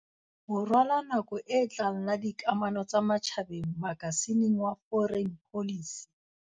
Borwa la nako e tlang la dikamano tsa matjhabeng makasi ning ya Foreign Policy.